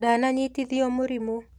Ndana nyitithio mũrimũ.